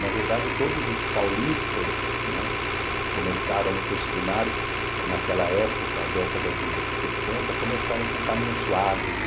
Na verdade, todos os paulistas, né, que começaram no curso primário, naquela época, década de sessenta, começaram com Caminho Suave.